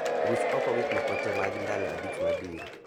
Ruch oko gik moko tee mag ndalo abich mabiro